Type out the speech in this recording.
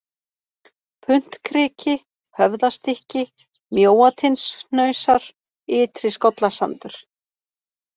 Puntkriki, Höfðastykki, Mjóatindshnausar, Ytri-Skollasandur